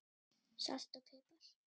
Salt og pipar